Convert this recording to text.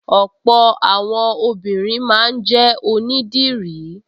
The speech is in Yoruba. Ọ̀pọ̀ àwọn obìnrin máa ń jẹ́ onídìrí